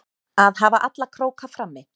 Að hafa alla króka frammi